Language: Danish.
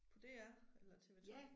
På DR eller TV2